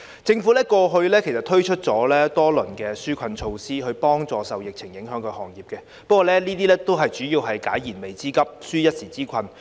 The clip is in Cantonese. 政府過去推出了多輪紓困措施，以協助受疫情影響的行業，但有關措施只能解決燃眉之急，紓一時之困。